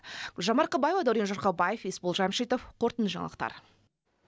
гүлжан марқабаева дәурен жұрқабаев есбол жамшитов қорытынды жаңалықтар